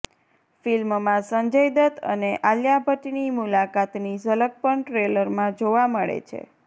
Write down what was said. ફિલ્મમાં સંજય દત્ત અને આલિયા ભટ્ટની મુલાકાતની ઝલક પણ ટ્રેલરમાં જોવા મળે છે